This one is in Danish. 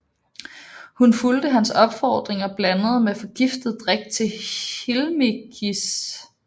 Hun fulgte hans opfordring og blandede en forgiftet drik til Hilmichis